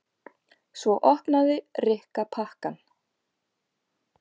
Svo opnaði Rikka pakkann.